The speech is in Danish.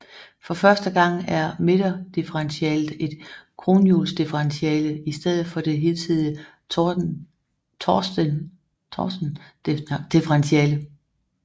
For første gang er midterdifferentialet et kronhjulsdifferentiale i stedet for det hidtidige Torsendifferentiale